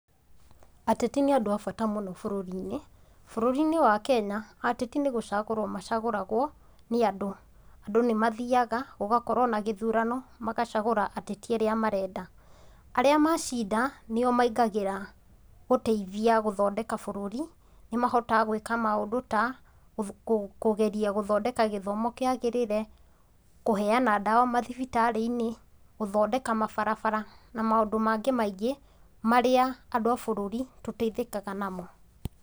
Ateti nĩ andũ a bata mũno bũrũri-inĩ, bũrũri-inĩ wa Kenya, ateti nĩ gũcagũrwo macagũragwo, nĩ andũ. Andũ nĩ mathiaga, gũgakorũo na gĩthurano, magacagũra ateti arĩa marenda. Arĩa macinda, nĩ o maingagĩra gũteithia gũthondeka bũrũri, nĩ mahotaga g wĩka maũndũ ta; kũgeria gũthondeka gĩthomo kĩagĩrĩre, kũheana ndawa mathibitarĩ-inĩ, gũthondeka mabarabara na maũndũ mangĩ maingĩ marĩa andũ a bũrũri tũteithĩkaga namo.